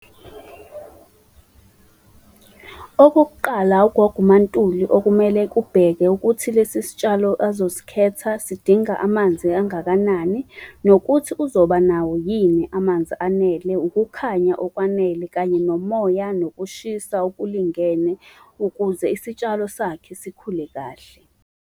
Okokuqala ugogo uMaNtuli okumele kubheke, ukuthi lesi sitshalo azosikhetha sidinga amanzi angakanani. Nokuthi uzoba nawo yini amanzi anele, ukukhanya okwanele, kanye nomoya, nokushisa okulingene ukuze isitshalo sakhe sikhule kahle.